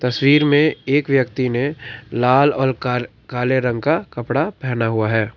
तस्वीर में एक व्यक्ति ने लाल और का काले रंग का कपड़ा पहना हुआ है।